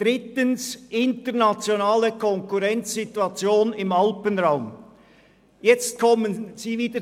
Drittens komme ich auf die internationale Konkurrenzsituation im Alpenraum zu sprechen: